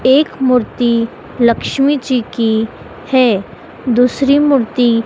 एक मूर्ति लक्ष्मी जी की है। दूसरी मूर्ति--